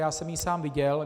Já jsem ji sám viděl.